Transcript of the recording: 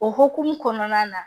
O hokumu kɔnɔna na